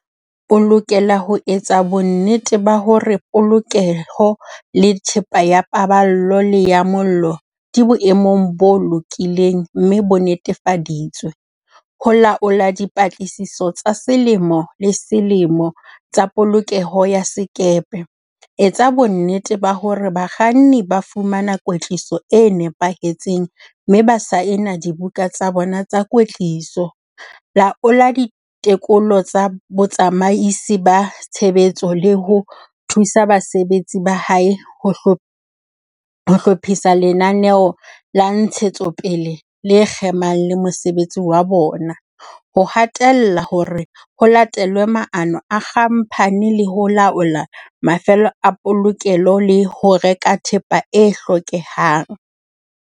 O lokela ho etsa bonnete ba hore polokeho le thepa ya pa ballo le ya mollo di boemong bo lokileng mme bo nnetefa ditswe, ho laola dipatlisiso tsa selemo le selemo tsa polokeho ya sekepe, etsa bonnete ba hore bakganni ba fumana kwetliso e nepahetseng mme ba saena dibuka tsa bona tsa kwetliso, laola ditekolo tsa botsamaisi ba tshebetso le ho thusa basebetsi ba hae ho hlophisa lenaneo la ntshetsopele le kgemang le mosebetsi wa bona, ho hatella hore ho latelwe maano a khamphani le ho laola mafelo a polokelo le ho reka thepa e hlokehang.